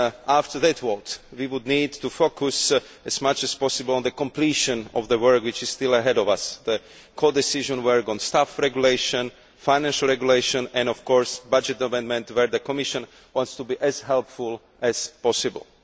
After that vote, we will need to focus as much as possible on the completion of the work which is still ahead of us the codecision work on staff regulation, financial regulation and, of course, budget amendment, where the Commission wants to be as helpful as possible.